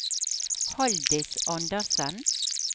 Haldis Anderssen